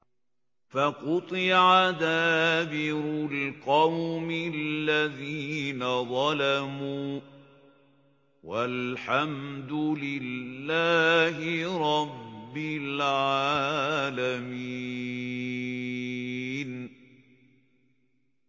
فَقُطِعَ دَابِرُ الْقَوْمِ الَّذِينَ ظَلَمُوا ۚ وَالْحَمْدُ لِلَّهِ رَبِّ الْعَالَمِينَ